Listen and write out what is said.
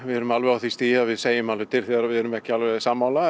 erum alveg á því stigi að við segjum alveg til þegar við erum ekki sammála